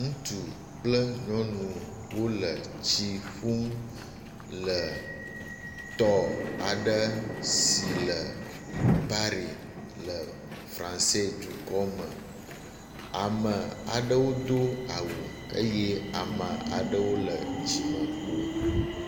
Ŋutsu kple nyɔnu wo le tsi ƒum le tɔ aɖe si le Paɖi le Francedukɔ me. Ame aɖewo do awu eye ame aɖewo le dzimekpo.